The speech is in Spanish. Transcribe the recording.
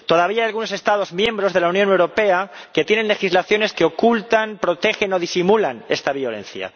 Todavía algunos Estados miembros de la Unión Europea tienen legislaciones que ocultan, protegen o disimulan esta violencia.